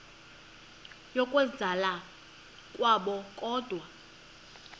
yokwenzakala kwabo kodwa